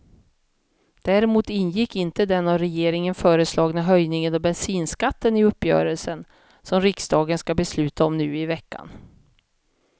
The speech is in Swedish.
Däremot ingick inte den av regeringen föreslagna höjningen av bensinskatten i uppgörelsen, som riksdagen ska besluta om nu i veckan.